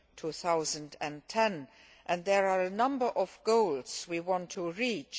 2010. There are a number of goals we want to reach.